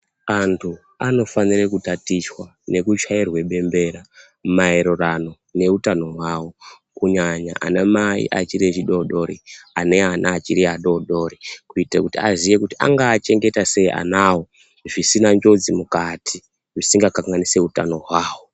Anthu anofanire kutatichwa nekuchairwe bembera. Maererano neutano hwawo. Kunyanya ana mai achiri adoodori, ane ana achiri adoodori kuitira kuti aziye kuti angaachengeta sei anawo zvisina njodzi mukati, zvisingakanganisi utano hwavo.